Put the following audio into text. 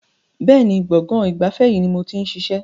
Bẹ́ẹ̀ni, gbọ̀ngàn ìgbafẹ́ yìí ni mo ti ń ṣiṣẹ́.